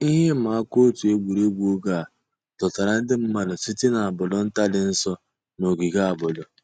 Íhè ị̀mà àkà ọ̀tù ègwè́régwụ̀ ògè à dọ̀tárà ńdí mmàdụ̀ sị̀tè n'àbọ̀dò̀ ńtà dì́ ǹsọ̀ nà ògìgè àbọ̀dò̀.